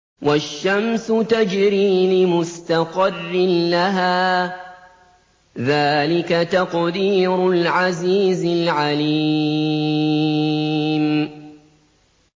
وَالشَّمْسُ تَجْرِي لِمُسْتَقَرٍّ لَّهَا ۚ ذَٰلِكَ تَقْدِيرُ الْعَزِيزِ الْعَلِيمِ